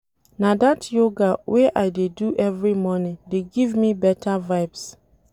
Na dat yoga wey I dey do every morning dey give me beta vibes.